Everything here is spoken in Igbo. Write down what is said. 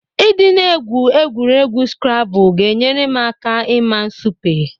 Ị dị na-egwu egwuregwu skrabụl ga-enyere m aka ịma nsupe.